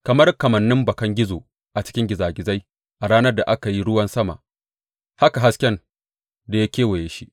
Kamar kamannin bakan gizo a cikin gizagizai a ranar da aka yi ruwan sama, haka hasken da ya kewaye shi.